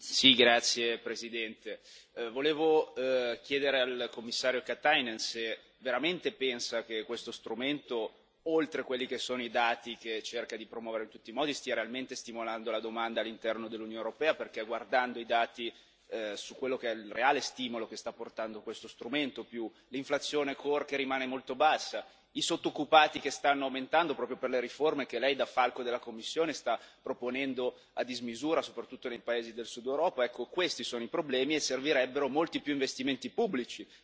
Signora Presidente, onorevoli colleghi, volevo chiedere al Commissario Katainen se veramente pensa che questo strumento, oltre quelli che sono i dati che cerca di promuovere in tutti modi, stia realmente stimolando la domanda all'interno dell'Unione europea, perché guardando i dati su quello che è il reale stimolo che sta portando questo strumento, più l'inflazione core che rimane molto bassa, i sottoccupati che stanno aumentando proprio per le riforme che Lei, da falco della Commissione, sta proponendo a dismisura, soprattutto nei paesi del Sud Europa, ecco, questi sono i problemi e servirebbero molti più investimenti pubblici.